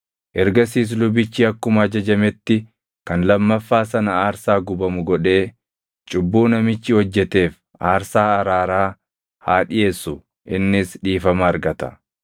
Ergasiis lubichi akkuma ajajametti kan lammaffaa sana aarsaa gubamu godhee cubbuu namichi hojjeteef aarsaa araaraa haa dhiʼeessu; innis dhiifama argata.